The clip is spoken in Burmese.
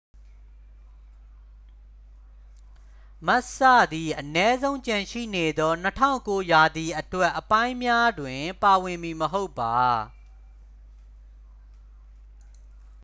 မက်စ်စ သည် အနည်းဆုံး ကျန်ရှိနေသော 2009 ရာသီအတွက်အပိုင်းများတွင် ပါဝင်မည်မဟုတ်ပါ